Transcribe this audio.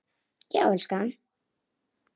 Já, elskan?